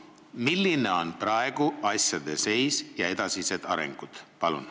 Milline on praegu asjade seis ja millised on edasised arengud?